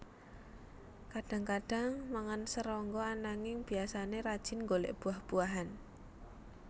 Kadang kadang mangan serangga ananging biasane rajin nggolek buah buahan